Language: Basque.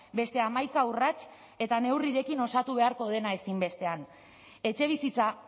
beste hamaika urrats eta neurrirekin osatu beharko dena ezinbestean etxebizitza